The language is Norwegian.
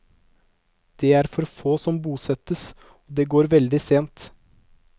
Det er for få som bosettes, og det går veldig sent.